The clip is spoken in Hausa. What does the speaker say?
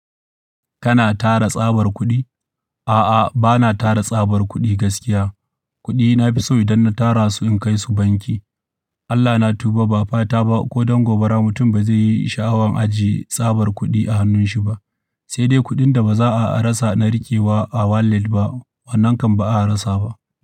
Kana tara tsabar kuɗi? A'a, bana tara tsabar kuɗi gaskiya. Kuɗi na fi so idan na tara su in kai su banki. Allah na tuba ba fata ba ko dan gobara, mutum ba zai yi sha'awan ajiye tsabar kuɗi a hannunshi ba, sai dai kuɗin da ba za'a rasa na riƙewa a wallet ba. Wannan kam ba'a rasa ba.